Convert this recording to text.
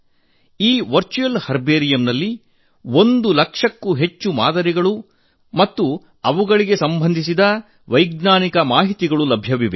ಈ ವರ್ಚುವಲ್ ಹರ್ಬೇರಿಯಂನಲ್ಲಿ ಒಂದು ಲಕ್ಷಕ್ಕೂ ಹೆಚ್ಚು ಮಾದರಿಗಳು ಮತ್ತು ಅವುಗಳಿಗೆ ಸಂಬಂಧಿಸಿದ ವೈಜ್ಞಾನಿಕ ಮಾಹಿತಿ ಇದೆ